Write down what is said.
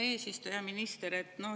Hea eesistuja!